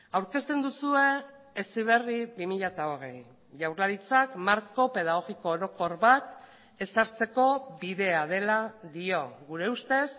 aurkezten duzue heziberri bi mila hogei jaurlaritzak marko pedagogiko orokor bat ezartzeko bidea dela dio gure ustez